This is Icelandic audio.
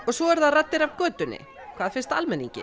svo eru það raddir af götunni hvað finnst almenningi